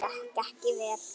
Gekk ekki vel.